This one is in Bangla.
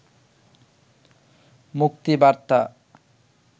মুক্তিবার্তা